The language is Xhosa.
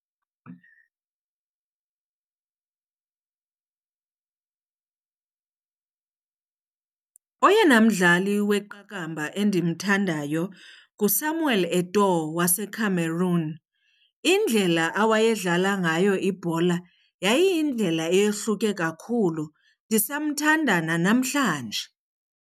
Oyena mdlali weqakamba endimthandayo nguSamuel Eto'o waseCameroon. Indlela awayedlala ngayo ibhola yayiyindlela eyohluke kakhulu, ndisamthathanda nanamhlanje.